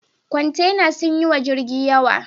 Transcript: Kwantenan sun yi wa jirgin yawa.